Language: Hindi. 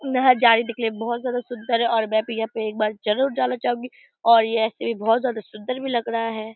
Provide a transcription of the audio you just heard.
यह के लिए बहोत ज्यादा सुंदर है और मैं भी यहाँ पे एक बार जरूर जाना चाहूंगी और यह ऐसे भी बहोत ज्यादा सुंदर भी लग रहा है ।